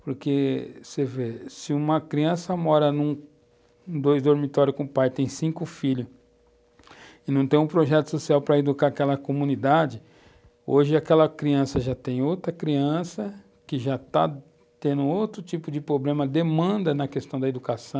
Porque você vê, se uma criança mora em dois dormitórios com o pai e tem cinco filhos, e não tem um projeto social para educar aquela comunidade, hoje aquela criança já tem outra criança que já está tendo outro tipo de problema, demanda na questão da educação,